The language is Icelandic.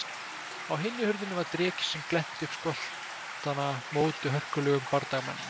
Á hinni hurðinni var dreki sem glennti upp skoltana móti hörkulegum bardagamanninum.